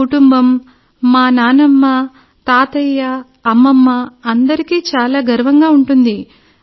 నా కుటుంబం మా నాన్నమ్మ తాతయ్య అమ్మమ్మ అందరికీ చాలా గర్వంగా ఉంటుంది